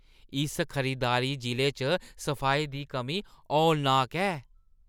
इस खरीददारी जि'ले च सफाई दी कमी हौलनाक ऐ।